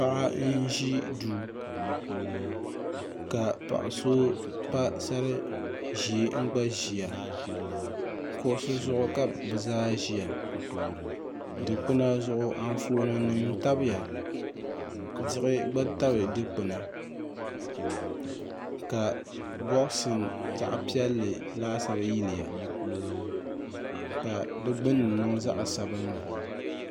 paɣa n-ʒi duu ka paɣ'so pa sar'ʒee n-gba ʒia kuɣisi zuɣu ka bɛ zaa ʒia dukpuna zuɣu afooninima tabiya diɣi gba tabi dukpuni ka bɔɣisi zaɣ'piɛlli laasabu yiliya ka di gbunni niŋ zaɣ'sabinlli